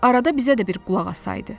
Arada bizə də bir qulaq asaydı.